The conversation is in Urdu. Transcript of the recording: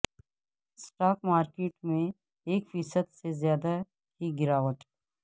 اسٹاک مارکیٹ میں ایک فیصد سے زیادہ کی گراوٹ